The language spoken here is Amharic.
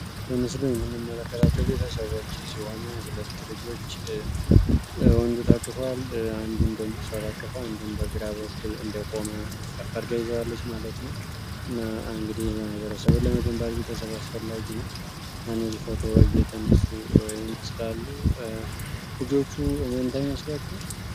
በምስሉ የምንመለከታቸው ቤተሰዎች ስሆኖ ሁለት ልጆች ወንዱትክፏል አንዱ እንደሞሷትአክፋ አንዱን በግራበ ኩል እንዴቆመ ከፈርጋይ ይዘዋለች ማለት ነው እና አንግዲህ በማይበረ ሰብን ለመግንባት ቤተሰበ አስፈላጊ ነው አነዚህ ፎቶ እየተነሱ መስሉ ልጆቹ እመንታ ይመስሏቸው፡፡